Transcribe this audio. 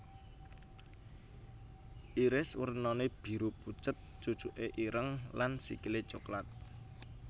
Iris warnané biru pucet cucuké ireng lan sikilé coklat